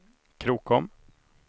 Krokom